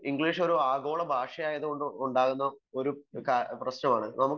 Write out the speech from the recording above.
English ഒരു ആഗോള ഭാഷ ആയതുകൊണ്ടുള്ള ഒരു പ്രശ്നമാണ്